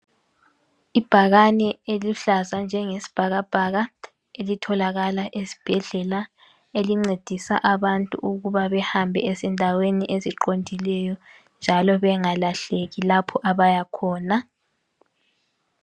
ibhakana eluhlaza njenge sibhakabhaka elitholakala esibhedlela elincedisa abantu ukubabehambe ezindaweni eziqondileyo njalo bengalahleki lapha abaya khona